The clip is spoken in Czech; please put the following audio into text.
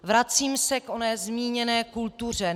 Vracím se k oné zmíněné kultuře.